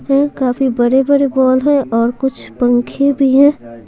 काफी बड़े-बड़े वॉल है और कुछ पंखे भी हैं।